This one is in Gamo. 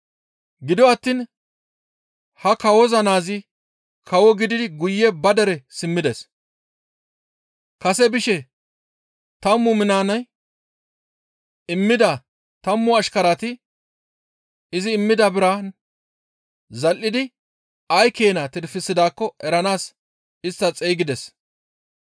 «Gido attiin ha kawo naazi kawo gididi guye ba dere simmides. Kase bishe tammu minaane immida tammu ashkarati izi immida biraan zal7idi ay keena tirfisidaakko eranaas istta xeygides.